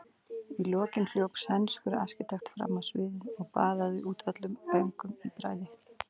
Í lokin hljóp sænskur arkitekt fram á sviðið og baðaði út öllum öngum í bræði.